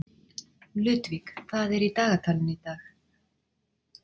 Ludvig, hvað er í dagatalinu í dag?